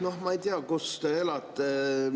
Noh, ma ei tea, kus te elate.